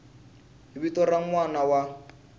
vito ra n wana wa